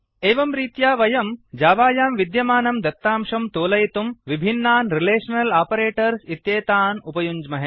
एवं रीत्या वयं जावायां विद्यमानं दत्तांशं तोलयितुं विभिन्नान् रिलेषनल् आपरेटर्स् इत्येतान् उपयुञ्ज्महे